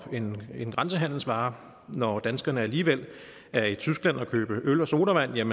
en en grænsehandelsvare når danskerne alligevel er i tyskland for at købe øl og sodavand